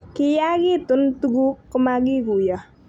kiyaakitun tuguk ko makikuiyo